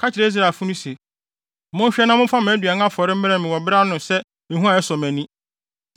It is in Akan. “Ka kyerɛ Israelfo se, ‘Monhwɛ na momfa mʼaduan afɔre mmrɛ me wɔ ne bere ano sɛ ehua a ɛsɔ mʼani.’